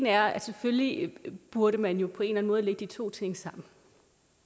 er at selvfølgelig burde man jo på en eller anden måde lægge de to ting sammen